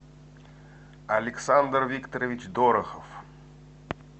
александр викторович дорохов